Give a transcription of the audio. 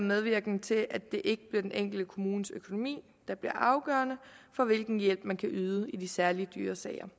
medvirkende til at det ikke bliver den enkelte kommunes økonomi der bliver afgørende for hvilken hjælp man kan yde i de særlig dyre sager